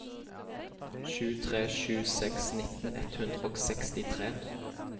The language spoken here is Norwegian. sju tre sju seks nitten ett hundre og sekstitre